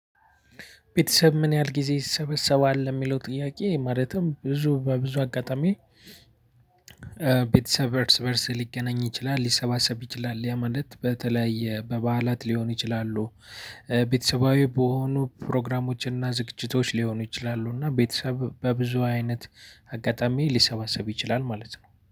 ቤተሰብ ምን ያህል ጊዜ ይሰበሰባል የሚለው ጥያቄ ማለትም ብዙ በብዙ አጋጣሚ። ቤተሰብ እርስ በርስ ሊገናኝ ይችላል ሊሰባሰብ ይችላል ያ ማለት በተለይ በበዓላት ሊሆን ይችላሉ። ቤተሰባዊ በሆኑ ፕሮግራሞችን እና ዝግጅቶች ሊሆኑ ይችላሉ እና ቤተሰብ በብዙ አይነት አጋጣሚ ሊሰባሰብ ይችላል ማለት ነው